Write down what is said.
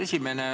Esimene.